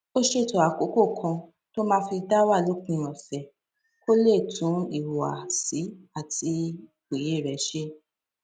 ó ṣètò àkókò kan tó máa fi dá wà lópin òsè kó lè tún ìhùwàsí àti òye rè ṣe